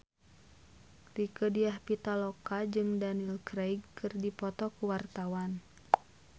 Rieke Diah Pitaloka jeung Daniel Craig keur dipoto ku wartawan